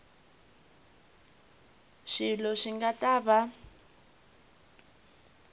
swilo swi nga ta va